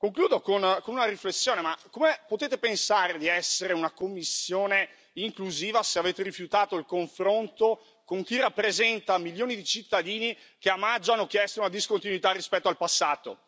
Concludo con una riflessione come potete pensare di essere una Commissione inclusiva se avete rifiutato il confronto con chi rappresenta milioni di cittadini che a maggio hanno chiesto una discontinuità rispetto al passato?